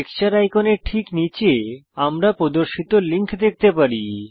texture আইকনের ঠিক নীচে আমরা প্রদর্শিত লিঙ্ক দেখতে পারি